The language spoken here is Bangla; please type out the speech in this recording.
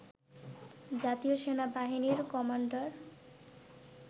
জাতীয় সেনাবাহিনীর কমান্ডার